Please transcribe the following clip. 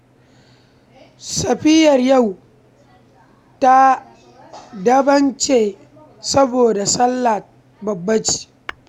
Safiyar yau ta daban ce saboda ta sallah babba ce